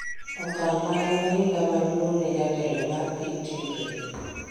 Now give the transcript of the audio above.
Okang' ma en ohinga maduong' ne jatelo mar piny Tigray.